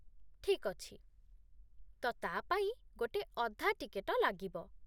ଠିକ୍ ଅଛି, ତ ତା' ପାଇଁ ଗୋଟେ ଅଧା ଟିକେଟ ଲାଗିବ।